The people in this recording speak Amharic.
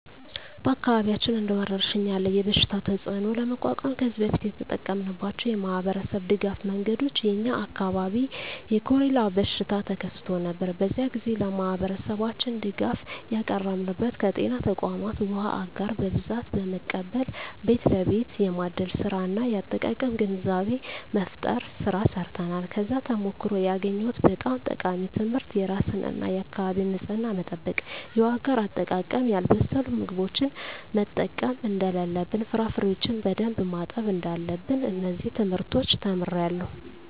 በአካባቢያችን እንደ ወረርሽኝ ያለ የበሽታ ተፅእኖ ለመቋቋም ከዚህ በፊት የተጠቀምንባቸው የማኅበረሰብ ድጋፍ መንገዶች የ የኛ አካባቢ የኮሬላ በሽታ ተከስቶ ነበር። በዚያ ግዜ ለማህበረሠባችን ድጋፍ ያቀረብንበት ከጤና ተቋማት ዉሃ አጋር በብዛት በመቀበል ቤት ለቤት የማደል ስራ እና የአጠቃቀም ግንዛቤ መፍጠር ስራ ሰርተናል። ከዚያ ተሞክሮ ያገኘሁት በጣም ጠቃሚ ትምህርት የራስን እና የአካቢን ንፅህና መጠበቅ፣ የውሃ አጋር አጠቃቀም፣ ያልበሰሉ ምግቦችን መጠቀም እደለለብን፣ ፍራፍሬዎችን በደንብ ማጠብ እዳለብን። እነዚን ትምህርቶች ተምሬአለሁ።